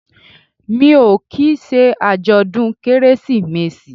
Mi ò kì í ṣe àjọ̀dún Kérésìmesì